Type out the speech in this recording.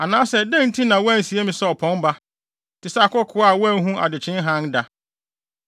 Anaasɛ adɛn nti na wɔansie me sɛ ɔpɔnba, te sɛ akokoaa a wanhu adekyee hann da?